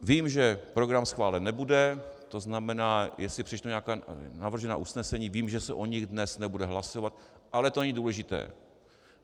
Vím, že program schválen nebude, to znamená, jestli přečtu nějaká navržená usnesení, vím, že se o nich dnes nebude hlasovat, ale to není důležité.